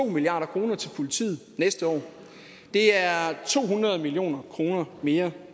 milliard kroner til politiet næste år det er to hundrede million kroner mere